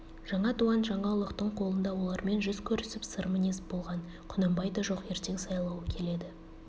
жаңа дуан жана ұлықтың қолында олармен жүз көрісіп сыр мінез болған құнанбай да жоқ ертең сайлауы келеді